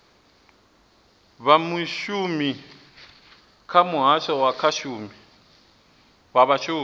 vhashumi kha muhasho wa vhashumi